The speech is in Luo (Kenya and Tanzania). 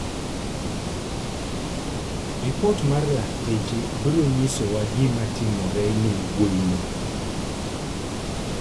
Ripot mar lakteche biro nyisowa gima notimore ne wuoyino.